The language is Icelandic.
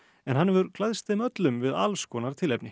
en hann hefur klæðst þeim öllum við alls konar tilefni